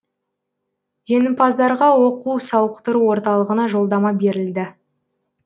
жеңімпаздарға оқу сауықтыру орталығына жолдама берілді